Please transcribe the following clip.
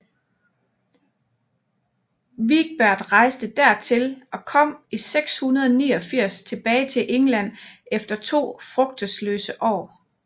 Wigbert rejste dertil og kom i 689 tilbage til England efter to frugtesløse år